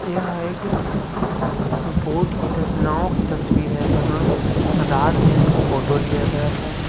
यह एक बोट की नांव की तस्वीर है जहाँ रात में उसका फोटो लिया गया है।